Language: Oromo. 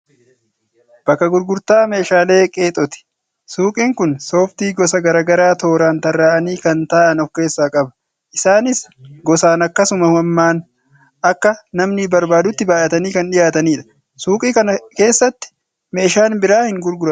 Bakka gurgurtaa meeshaalee qeexooti. Suuqiin kun sooftii gosa garaagaraa tooran tarraa'anii kan taa'an of keessaa qaba. Isaaniis gosaan akkasuma hammaan akka namni barbaadutti baay'atanii kan dhiyaatanidha. Suuqii kana keessatti meeshaan biraa hin gurguramuu?